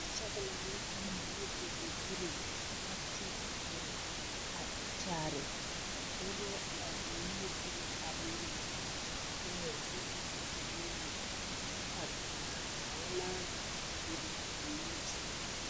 Sɔglaa ne eelɛ ne gogobiri la teɛŋ o gbɛɛ a kyaare ka dɔba are a niŋesogɔ a leɛ yaare ba gbɛɛ kyɛɛ yaare ba nuuri kyɛ ka naagaŋnaa a bebe ba niŋesogɔ.